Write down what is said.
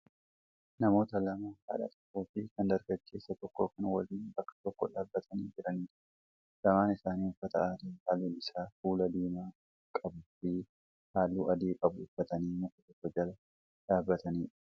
namoota lamaa haadha tokkoo fi kan dargaggeessa tokkoo kan waliin bakka tokko dhaabbatanii jiranidha. Lamaan isaanii uffata aadaa halluun isaa kuula diimaa qabuu fi halluu adii qabu uffatanii muka tokko jala dhaabbatanidha.